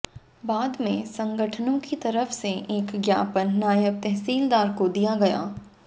बाद में संगठनों की तरफ से एक ज्ञापन नायब तहसीलदार को दिया गया